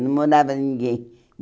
Não morava ninguém.